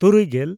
ᱛᱩᱨᱩᱭᱼᱜᱮᱞ